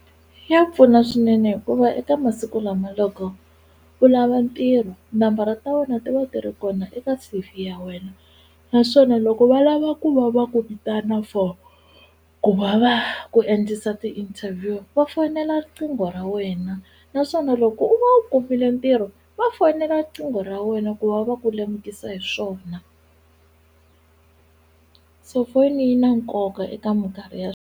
Ya pfuna swinene hikuva eka masiku lama loko u lava ntirho nambara ta wena ti va ti ri kona eka C_V ya wena naswona loko va lava ku va va ku vitana for ku va va ku endlisa ti-interview va fonela riqingho ra wena naswona loko u va u kumile ntirho va fonela riqingho ra wena ku va va ku lemukisa hi swona se foni yi na nkoka eka minkarhi ya.